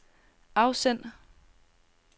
afsend